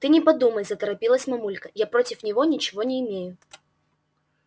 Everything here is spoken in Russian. ты не подумай заторопилась мамулька я против него ничего не имею